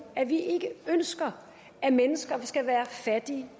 at vi ikke ønsker at mennesker skal være fattige